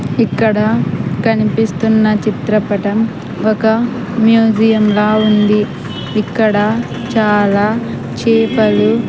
ఇక్కడ కనిపిస్తున్న చిత్రపటం ఒక మ్యూజియం లా ఉంది ఇక్కడ చాలా చేపలు--